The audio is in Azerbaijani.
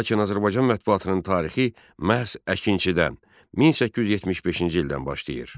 Lakin Azərbaycan mətbuatının tarixi məhz Əkinçidən, 1875-ci ildən başlayır.